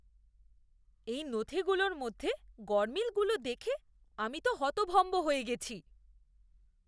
এই নথিগুলোর মধ্যে গরমিলগুলো দেখে আমি তো হতভম্ব হয়ে গেছি।